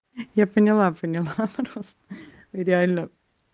я поняла поняла просто реально